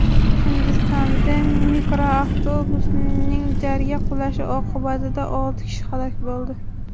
Hindistonda mikroavtobusning jarga qulashi oqibatida olti kishi halok bo‘ldi.